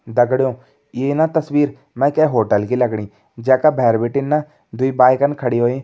दगड़ियों ईं न तस्वीर मैं कै होटल की लगणी जै का भैर बिटिन न दुई बाइकन खड़ी होईं।